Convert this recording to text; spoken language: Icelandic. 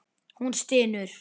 Hún stynur.